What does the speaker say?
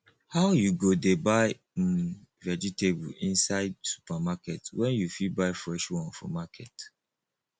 how you go dey buy um vegetable inside supermarket when you fit buy fresh one for market